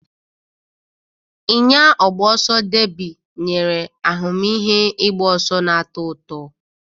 Ịnya ọgba ọsọ deebi nyere ahụmịhe ịgba ọsọ na-atọ ụtọ.